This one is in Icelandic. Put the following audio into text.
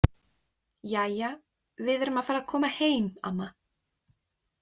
Jæja, við erum að fara að koma heim, amma.